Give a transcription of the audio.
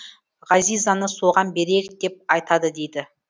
ғазизаны соған берейік деп айтады дейді